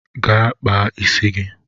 Gaa kpaa isi gị!